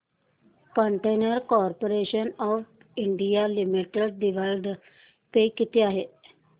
container corporation of India limited dividend pay किती आहे